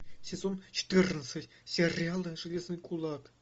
сезон четырнадцать сериала железный кулак